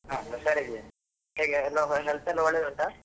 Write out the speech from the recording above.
ಹಾ ಹುಷಾರಿದ್ದೀನಿ, ಹೇಗೆ ಎಲ್ಲ health ಎಲ್ಲ ಒಳ್ಳೆದುಂಟಾ?